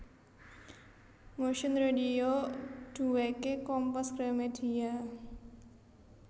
Motion Radio duweke Kompas Gramedia